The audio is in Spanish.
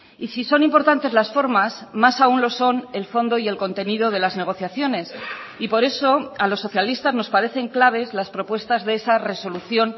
y si son importantes las formas más aún lo son el fondo y el contenido de las negociaciones y por eso a los socialistas nos parecen claves las propuestas de esa resolución